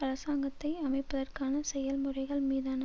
அராசங்கத்தை அமைப்பதற்கான செயல்முறைகள் மீதான